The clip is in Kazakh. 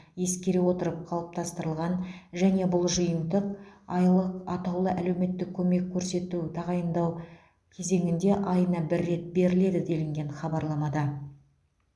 ескере отырып қалыптастырылған және бұл жиынтық айлық атаулы әлеуметтік көмек көрсету тағайындау кезеңінде айына бір рет беріледі делінген хабарламада